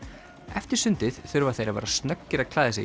eftir sundið þurfa þeir að vera snöggir að klæða sig